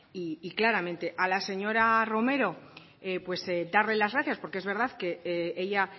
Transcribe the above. y claramente a la señora romero darle las gracias porque es verdad que ella